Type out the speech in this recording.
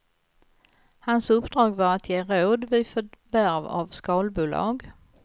Hans uppdrag var att ge råd vid förvärv av skalbolag.